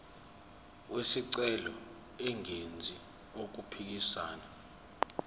wesicelo engenzi okuphikisana